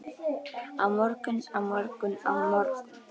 Á morgun, á morgun, á morgun.